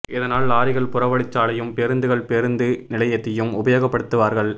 இதனால் லாரிகள் புறவழி சாலையும் பேருந்துகள் பேருந்து நிலையத்தையும் உபயோகப்படுத்துவார்கள்